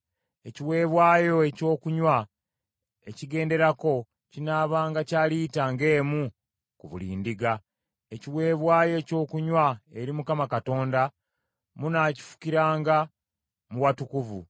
Ekiweebwayo ekyokunywa ekigenderako kinaabanga kya lita ng’emu ku buli ndiga. Ekiweebwayo ekyokunywa eri Mukama Katonda munaakifukiranga mu watukuvu.